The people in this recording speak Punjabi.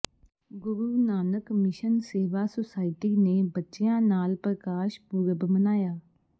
ਗੁਰੂ ਨਾਨਕ ਮਿਸ਼ਨ ਸੇਵਾ ਸੁਸਾਇਟੀ ਨੇ ਬੱਚਿਆਂ ਨਾਲ ਪ੍ਰਕਾਸ਼ ਪੁਰਬ ਮਨਾਇਆ